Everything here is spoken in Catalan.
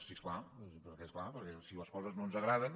sí és clar perquè és clar si les coses no ens agraden